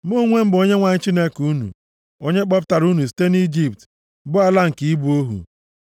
“Mụ onwe m bụ Onyenwe anyị Chineke unu, onye kpọpụtara unu site nʼIjipt, bụ ala nke ịbụ ohu.